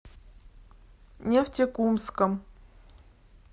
нефтекумском